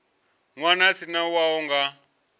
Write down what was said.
ṅwana a si wau nga